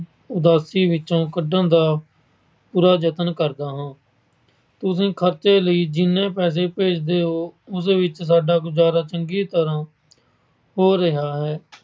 ਉਦਾਸੀ ਵਿੱਚੋਂ ਕੱਢਣ ਦਾ ਪੂਰਾ ਯਤਨ ਕਰਦਾ ਹਾਂ। ਤੁਸੀਂ ਖਰਚੇ ਲਈ ਜਿੰਨੇ ਪੈਸੇ ਭੇਜਦੇ ਹੋ, ਉਹਦੇ ਵਿੱਚ ਸਾਡਾ ਗੁਜਾਰਾ ਚੰਗੀ ਤਰ੍ਹਾਂ ਹੋ ਰਿਹਾ ਹੈ।